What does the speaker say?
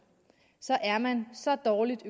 så er man så dårligt